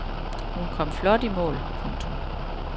Hun kom flot i mål. punktum